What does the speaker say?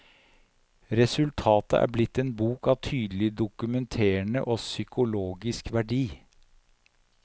Resultatet er blitt en bok av tydelig dokumenterende og psykologisk verdi.